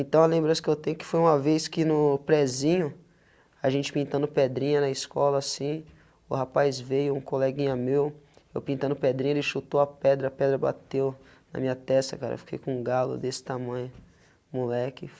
Então, lembrança que eu tenho que foi uma vez que no prezinho, a gente pintando pedrinha na escola, assim, o rapaz veio, um coleguinha meu, eu pintando pedrinha, ele chutou a pedra, a pedra bateu na minha testa, cara, fiquei com um galo desse tamanho, moleque.